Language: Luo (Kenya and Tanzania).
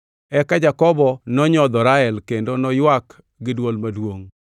Eka Jakobo nonyodho Rael kendo noywak gi dwol maduongʼ.